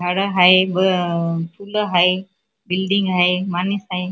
झाडे हाय व फुलं हाय बिल्डींग हाय माणूस हाय.